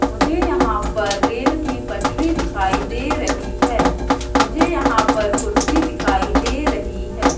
मुझे यहां पर रेल की पटरी दिखाई दे रही है मुझे यहां पर कुर्सी दिखाई दे रही है।